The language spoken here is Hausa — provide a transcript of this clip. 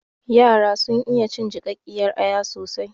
Yara sun iya cin jiƙaƙƙiyar aya soasi